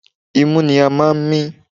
Imú ni a máa ń mí.